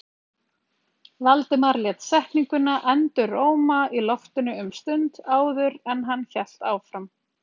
Valdimar lét setninguna enduróma í loftinu um stund áður en hann hélt áfram.